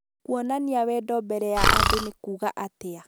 kuonania wendo mbere ya andũ nĩ kuuga atĩa